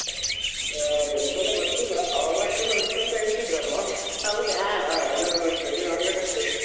ಹಾ ಎಂಥನ ಗೊತ್ತಿಲ್ಲಾ ಅವಲಕ್ಕಿ ಎಲ್ಲಾ ಉಂಟಂತ ಹೇಳ್ತಿದ್ರು ಅಮ್ಮಾ ಹಾ ಈಗ ಕೇಳಿ ನೋಡ್ಬೇಕಷ್ಟೆ.